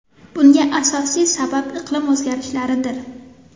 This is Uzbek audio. Bunga asosiy sabab iqlim o‘zgarishlaridir.